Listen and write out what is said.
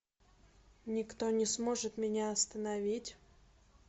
никто не сможет меня остановить